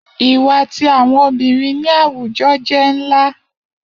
Iwa ti awọn obirin ni awujọ jẹ nla